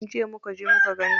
Jiya muka je muka gani.